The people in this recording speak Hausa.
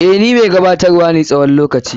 Eh, ni mai gabatar wa na tsawon lokaci.